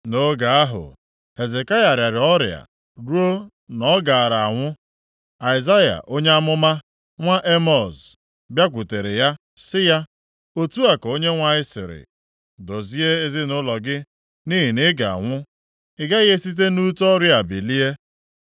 Nʼoge ahụ, Hezekaya rịara ọrịa ruo na ọ gaara anwụ. Aịzaya onye amụma, nwa Emọz, bịakwutere ya, sị ya, “Otu a ka Onyenwe anyị sịrị: Dozie ezinaụlọ gị, nʼihi na ị ga-anwụ. Ị gaghị esite nʼute ọrịa a bilie.”